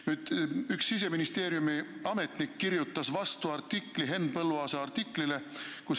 Nüüd, üks Siseministeeriumi ametnik kirjutas vastuartikli Henn Põlluaasa artiklile.